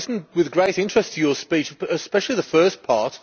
I listened with great interest to your speech, especially the first part.